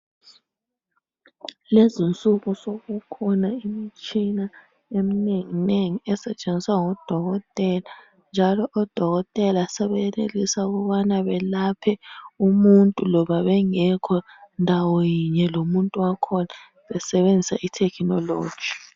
Lezinsuku sokukhona imitshina eminenginengi esetshenziswa ngodokotela. Njalo odokotela sebeyenelisa ukubana belaphe umuntu loba bengekho ndawo yinye lomuntu wakhona besebenzisa ithekhinoloji